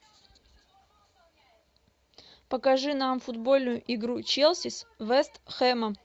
покажи нам футбольную игру челси с вест хэмом